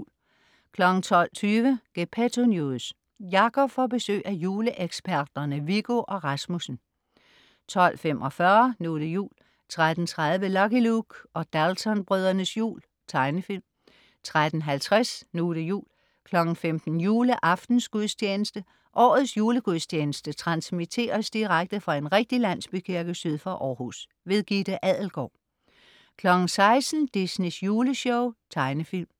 12.20 Gepetto News. Jacob får besøg af juleeksperterne Viggo og Rasmussen 12.45 Nu' det jul 13.30 Lucky Luke og Daltonbrødrenes jul. Tegnefilm 13.50 Nu' det jul 15.00 Juleaftensgudstjeneste. Årets julegudstjeneste transmitteres direkte fra en rigtig landsbykirke syd for Århus. Gitte Adelgaard 16.00 Disneys Juleshow. Tegnefilm